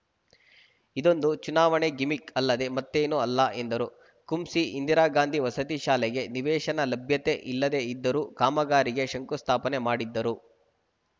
ಇದೊಂದು ಚುನಾವಣೆ ಗಿಮಿಕ್‌ ಅಲ್ಲದೆ ಮತ್ತೇನು ಅಲ್ಲ ಎಂದರು ಕುಂಸಿ ಇಂದಿರಾಗಾಂಧಿ ವಸತಿ ಶಾಲೆಗೆ ನಿವೇಶನ ಲಭ್ಯತೆ ಇಲ್ಲದೆ ಇದ್ದರೂ ಕಾಮಗಾರಿಗೆ ಶಂಕುಸ್ಥಾಪನೆ ಮಾಡಿದ್ದರು